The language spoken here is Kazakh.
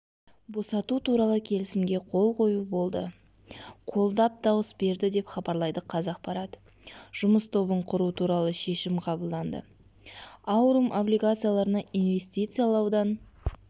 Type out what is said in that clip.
босату туралы келісімге қол қою болды қолдап дауыс берді деп хабарлайды қазақпарат жұмыс тобын құру туралы шешім қабылданды аурум облигацияларына инвестициялаудан